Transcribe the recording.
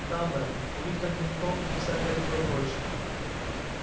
да мэм у них там винтовки и всякое такое прочее